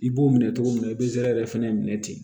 I b'o minɛ cogo min na i bɛ zɛrɛrɛn fɛnɛ minɛ ten